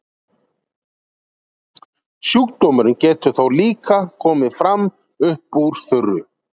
sjúkdómurinn getur þó líka komið fram upp úr þurru